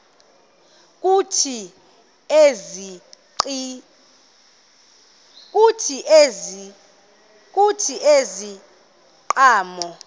kuthi ezi ziqhamo